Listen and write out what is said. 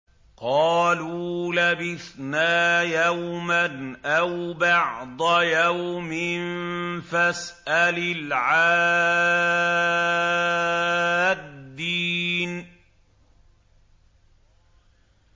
قَالُوا لَبِثْنَا يَوْمًا أَوْ بَعْضَ يَوْمٍ فَاسْأَلِ الْعَادِّينَ